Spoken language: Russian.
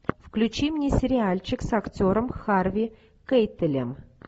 включи мне сериальчик с актером харви кейтелем